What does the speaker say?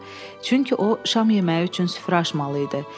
Çünki o şam yeməyi üçün süfrə açmalı idi.